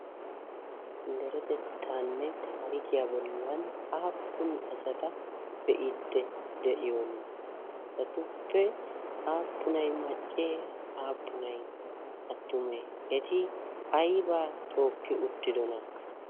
deretettaanne taarikiyaa bollan aappun asata be'idde de'iyoni asatuppe aappunai maccee aappunai attume eti aybaa tookki uttidona?